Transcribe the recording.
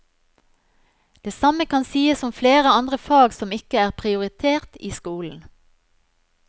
Det samme kan sies om flere andre fag som ikke er prioritert i skolen.